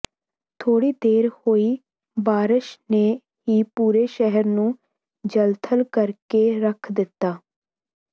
ਥੋੜ੍ਹੀ ਦੇਰ ਹੋਈ ਬਾਰਸ਼ ਨੇ ਹੀ ਪੂਰੇ ਸ਼ਹਿਰ ਨੂੰ ਜਲਥਲ ਕਰਕੇ ਰੱਖ ਦਿੱਤਾ